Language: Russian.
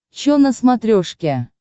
чо на смотрешке